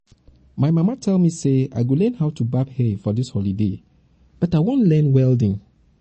my mama tell me say i go learn how to barb hair for dis holiday but i wan learn welding